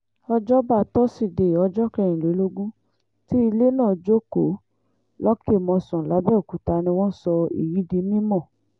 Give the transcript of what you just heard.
òjọba tosidee ọjọ́ kẹrìnlélógún tí ilé náà jókòó lọ́kẹ́ mòsàn làbẹ́ọ̀kúta ni wọ́n sọ èyí di mímọ́